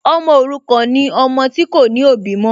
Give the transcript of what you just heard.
Ọmọ òrukàn ni ọmọ tí kò ní òbí mọ́